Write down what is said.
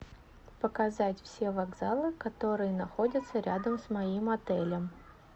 показать все вокзалы которые находятся рядом с моим отелем